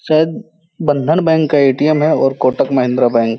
शायद बंधन बैंक का ए.टी.एम. है और कोटक महिंद्रा बैंक --